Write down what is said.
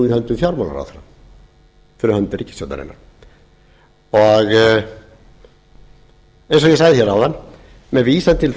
höndum fjármálaráðherra fyrir hönd ríkisstjórnarinnar eins og ég sagði hér áðan með vísan til